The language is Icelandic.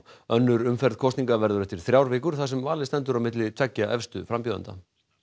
önnur umferð kosninga verður eftir þrjár vikur þar sem valið stendur á milli tveggja efstu frambjóðenda